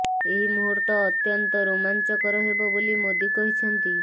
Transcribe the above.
ଏହି ମୁହୂର୍ତ୍ତ ଅତ୍ୟନ୍ତ ରୋମାଞ୍ଚକର ହେବ ବୋଲି ମୋଦୀ କହିଛନ୍ତି